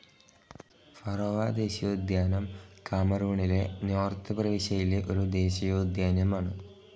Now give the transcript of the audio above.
Faro ദേശീയോദ്യാനം കാമറൂണിലെ north പ്രവിശ്യയിലെ ഒരു ദേശീയ ഉദ്യാനമാണ്.